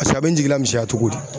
paseke a be n jigila misɛnya togodi